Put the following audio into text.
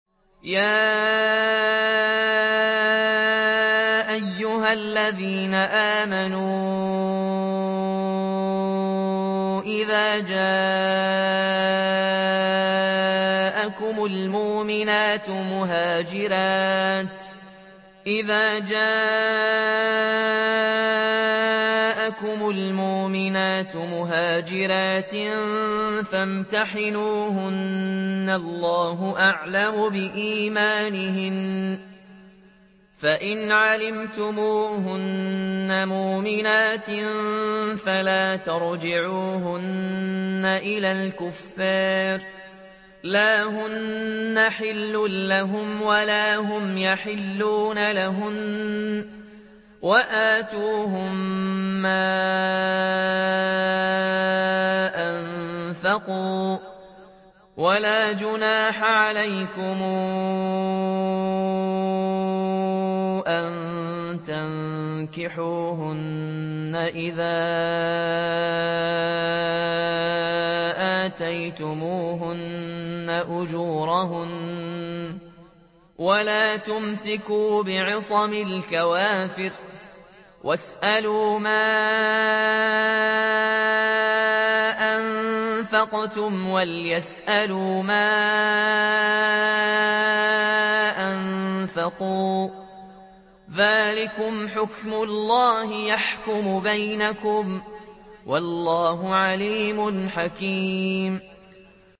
يَا أَيُّهَا الَّذِينَ آمَنُوا إِذَا جَاءَكُمُ الْمُؤْمِنَاتُ مُهَاجِرَاتٍ فَامْتَحِنُوهُنَّ ۖ اللَّهُ أَعْلَمُ بِإِيمَانِهِنَّ ۖ فَإِنْ عَلِمْتُمُوهُنَّ مُؤْمِنَاتٍ فَلَا تَرْجِعُوهُنَّ إِلَى الْكُفَّارِ ۖ لَا هُنَّ حِلٌّ لَّهُمْ وَلَا هُمْ يَحِلُّونَ لَهُنَّ ۖ وَآتُوهُم مَّا أَنفَقُوا ۚ وَلَا جُنَاحَ عَلَيْكُمْ أَن تَنكِحُوهُنَّ إِذَا آتَيْتُمُوهُنَّ أُجُورَهُنَّ ۚ وَلَا تُمْسِكُوا بِعِصَمِ الْكَوَافِرِ وَاسْأَلُوا مَا أَنفَقْتُمْ وَلْيَسْأَلُوا مَا أَنفَقُوا ۚ ذَٰلِكُمْ حُكْمُ اللَّهِ ۖ يَحْكُمُ بَيْنَكُمْ ۚ وَاللَّهُ عَلِيمٌ حَكِيمٌ